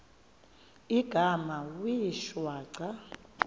igama wee shwaca